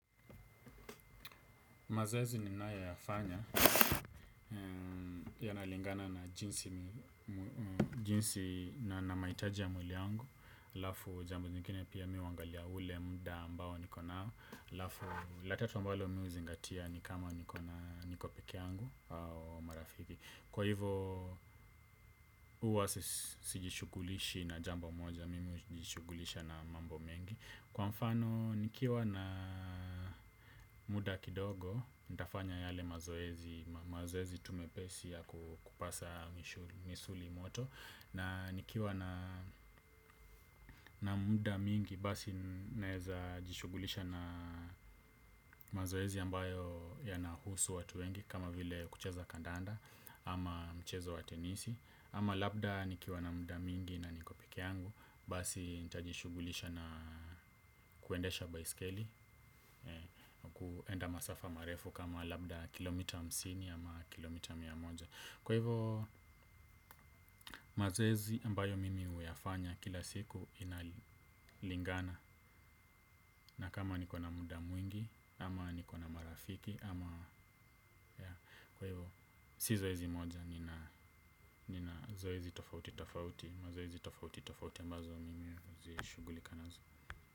Mazoezi ninayoyafanya yanalingana na jinsi na mahitaji ya mwili wangu, halafu jambo nyingine pia mimi huangalia ule muda ambao niko nao, halafu la tatu ambalo mimi huzingatia ni kama niko na, niko pekee yangu au marafiki. Kwa hivo huwa sijishughulishi na jambo moja, mimi hujishughulisha na mambo mengi. Kwa mfano, nikiwa na muda kidogo, nitafanya yale mazoezi, mazoezi tu mepesi ya kupasa misuli moto. Na nikiwa na muda mingi, basi naeza jishughulisha na mazoezi ambayo yanahusu watu wengi. Kama vile kucheza kandanda ama mchezo wa tenisi. Ama labda nikiwa na muda mingi na niko pekee yangu, basi nitajishughulisha na kuendesha baiskeli. Kuenda masafa marefu kama labda kilomita hamsini ama kilomita mia moja. Kwa hivo mazoezi ambayo mimi huyafanya kila siku inalingana. Na kama niko na muda mwingi ama niko na marafiki. Kwa hivo si zoezi moja nina zoezi tofauti tofauti mazoezi tofauti tofauti ambazo mimi hujishughulika nazo.